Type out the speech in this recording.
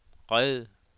red